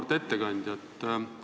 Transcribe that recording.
Auväärt ettekandja!